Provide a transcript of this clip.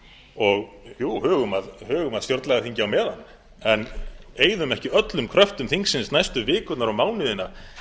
og hugum að stjórnlagaþingi á meðan en eyðum ekki öllum kröftum þingsins næstu vikurnar og mánuðina